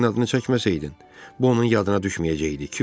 Sən suyun adını çəkməsəydin, bu onun yadına düşməyəcəkdi.